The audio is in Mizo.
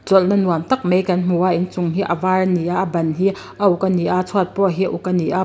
chawlhna nuam tak mai kan hmu a inchung hi a var a ni a a ban hi a uk a ni a chhuat pawh hi a uk a ni a.